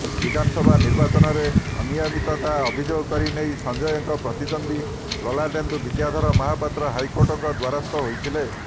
ବିଧାନସଭା ନିର୍ବାଚନରେ ଅନିୟମିତତା ଅଭିଯୋଗ କରି ନେଇ ସଞ୍ଜୟଙ୍କ ପ୍ରତିଦ୍ୱନ୍ଦ୍ୱୀ ଲଲାଟେନ୍ଦୁ ବିଦ୍ୟାଧର ମହାପାତ୍ର ହାଇକୋର୍ଟଙ୍କ ଦ୍ୱାରସ୍ଥ ହୋଇଥିଲେ